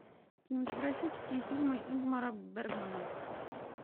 кинематографические фильмы ингмара бергмана